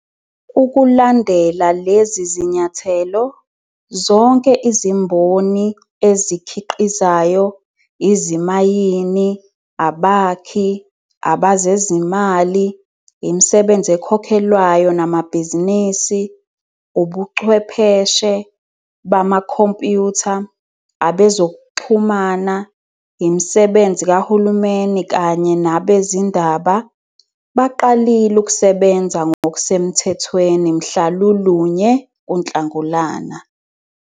Ukulandela lezi zinyathelo, zonke izimboni ezikhi qizayo, izimayini, abakhi, abezezimali, imisebenzi ekhokhelwayo namabhizinisi, ubuchwepheshe bamakhompyutha, abe zokuxhumana, imisebenzi kahulumeni kanye nabezindaba, baqalile ukusebenza ngokusemthethweni mhla lulunye kuNhlangulana.